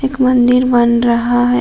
एक मंदिर बन रहा है।